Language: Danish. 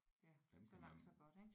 Ja så langt så godt ik